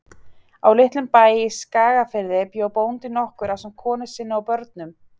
Á litlum bæ í Skagafirði bjó bóndi nokkur ásamt konu sinni og börnum.